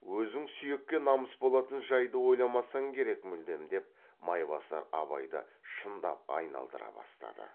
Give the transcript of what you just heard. өзің сүйекке намыс болатын жайды ойламасаң керек мүлдем деп майбасар абайды шындап айналдыра бастады